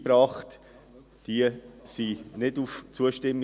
Diese stiessen nicht auf Zustimmung.